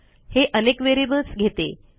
हे अनेक व्हेरिएबल्स घेते